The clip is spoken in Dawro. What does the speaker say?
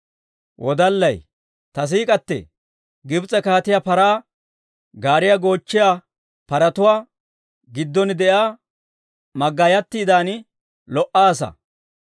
Ta siik'k'atee! Gibs'e kaatiyaa paraa gaariyaa goochchiyaa paratuwaa giddon de'iyaa maggaayatiidan lo"aasa.